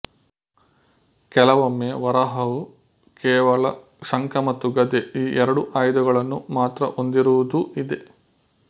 ಕೆಲವೊಮ್ಮೆ ವರಾಹವು ಕೇವಲ ಶಂಖ ಮತ್ತು ಗದೆ ಈ ಎರಡು ಆಯುಧಗಳನ್ನು ಮಾತ್ರಹೊಂದಿರುವುದೂ ಇದೆ